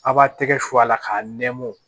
A b'a tɛgɛ su a la k'a nɛmɔw